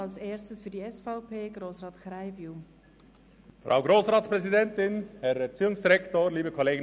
Als Erstes spricht für die SVP-Fraktion Grossrat Krähenbühl.